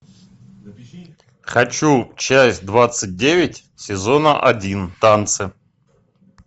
хочу часть двадцать девять сезона один танцы